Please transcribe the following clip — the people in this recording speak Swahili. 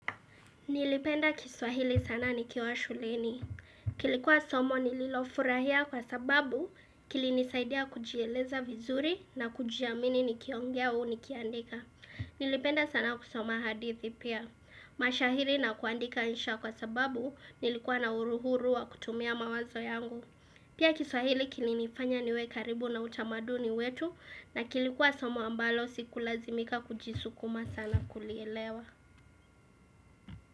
Nilipenda kiswahili sana nikiwa shuleni. Kilikuwa somo nililofurahia kwa sababu kilinisaidia kujieleza vizuri na kujiamini nikiongea au nikiandika. Nilipenda sana kusoma hadithi pia. Mashairi na kuandika insha kwa sababu nilikuwa na uhuru kutumia mawazo yangu. Pia kiswahili kilinifanya niwe karibu na utamaduni wetu na kilikuwa somo ambalo siku lazimika kujisukuma sana kulielewa.